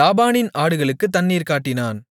லாபானின் ஆடுகளுக்குத் தண்ணீர் காட்டினான்